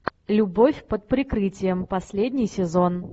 любовь под прикрытием последний сезон